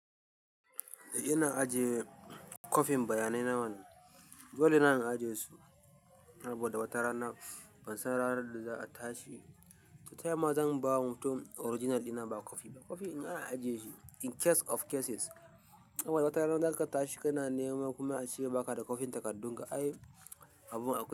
Eh ina ajiye kwafin bayanai na mana. Dole na na ajiye su saboda wata rana ban san ranar da za a tashi. To ta yaya ma zan bawa mutum original ɗina ba kwafi ba? Kwafi in ana ajiye shi in case of cases. In wata rana zaka tashi kana nema kuma a ce baka da kwafin takardun ka. Ai abun akwai.